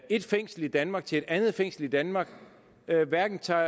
et fængsel i danmark til et andet fængsel i danmark hverken tager